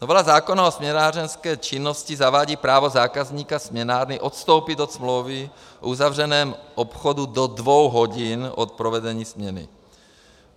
Novela zákona o směnárenské činnosti zavádí právo zákazníka směnárny odstoupit od smlouvy v uzavřeném obchodu do dvou hodin od provedení směny.